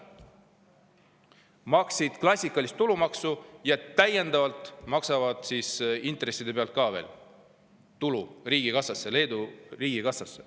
Maksid klassikalist tulumaksu ja täiendavalt maksad intresside pealt ka veel tulu riigikassasse, Leedu riigikassasse.